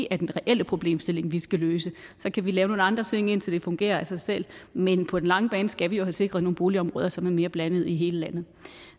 er den reelle problemstilling som vi skal løse så kan vi lave nogle andre ting indtil det fungerer af sig selv men på den lange bane skal vi jo have sikret nogle boligområder som er mere blandede i hele landet